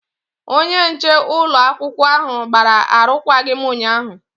Onye nche ụlọakwụkwọ ahụ gbara arụkwaghịm ụnyaahụ.